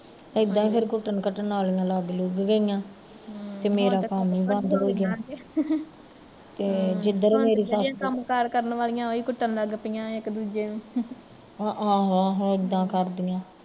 ਇੱਦਾਂ ਈ ਫਿਰ ਕੁੱਟਣ ਘਟਣ ਵਾਲੀਆ ਲੱਗ ਲੁਗ ਗਈਆ ਤੇ ਮੇਰਾ ਕੰਮ ਈ ਬੰਦ ਹੋਗਿਆ ਹਮ ਤੇ ਜਦਰੋਂ ਮੇਰੀ ਸੱਸ ਆਹੋ ਆਹੋ ਇੱਦਾਂ ਕਰਦੀਆ